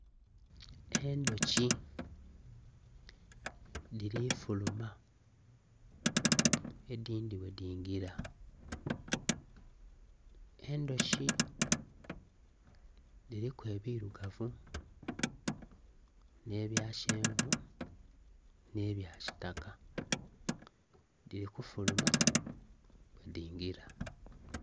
endhuki dhirifuluma , endhindhi bwe dhingira. endhuki, dhiriku ebirugavu, n'ebyakyenvu, n'ebyakitaka. Dhirikufuluma bwe dhingira.